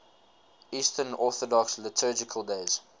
eastern orthodox liturgical days